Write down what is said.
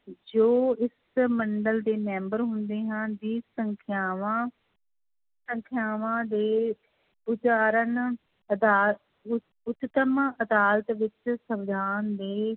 ਜੋ ਇਸ ਮੰਡਲ ਦੇ ਮੈਂਬਰ ਹੁੰਦੇ ਹਨ ਸੰਖਿਆਵਾਂ, ਸੰਖਿਆਵਾਂ ਦੇ ਉਚਾਰਨ ਅਦਾ ਉੱਚ ਉਚਤਮ ਅਦਾਲਤ ਵਿੱਚ ਸਵਿਧਾਨ ਦੇ